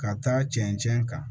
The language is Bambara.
Ka taa cɛncɛn kan